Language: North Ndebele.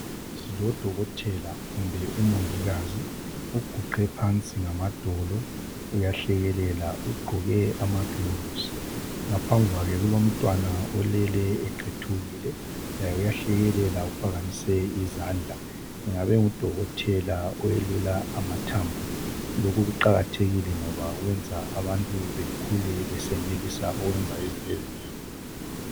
Silodokotela kumbe umongikazi uguqe phansi ngamadolo uyahlekelela ugqoke amagilovisi. Ngaphambi kwakhe kulomntwana olele eqethukile laye uyahlekelela uphakamise izandla. Engabe engudokotela oyelula amathambo. Lokhu kuqakathekile ngoba wenza abantu bekhule besenelisa ukwenza into ezinengi.